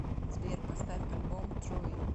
сбер поставь альбом труи